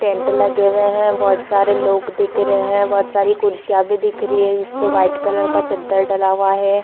Tent लगे हुए है बहुत सारे लोग दिख रहे है बहुत सारी कुर्सियां भी दिख रही है जिसपे व्हाइट कलर का चदर डला हुआ है।